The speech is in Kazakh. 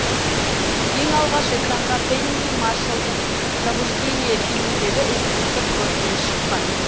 ең алғаш экранға пенни маршаллдың пробуждение фильміндегі эпизодтық рөлмен шыққан